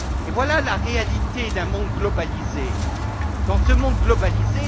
Voilà la réalité d'un monde globalisé.